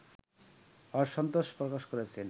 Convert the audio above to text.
অসন্তোষ প্রকাশ করেছেন